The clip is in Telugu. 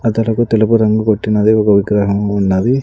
అతడకు తెలుపు రంగు కొట్టినది ఒక విగ్రహము ఉన్నది.